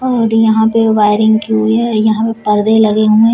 और यहां पे वायरिंग की हुई है यहां पे परदे लगे हुए हैं।